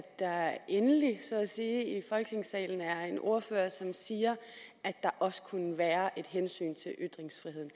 der endelig så at sige i folketingssalen er en ordfører som siger at der også kunne være et hensyn til ytringsfriheden